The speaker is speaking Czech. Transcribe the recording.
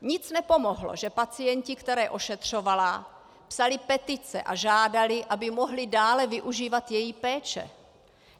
Nic nepomohlo, že pacienti, které ošetřovala, psali petice a žádali, aby mohli dále využívat její péče.